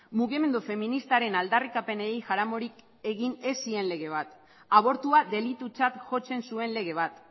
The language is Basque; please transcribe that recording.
mugimendu feministaren aldarrikapenei jaramonik egiten ez zien lege bat abortua delitutzat jotzen zuen lege bat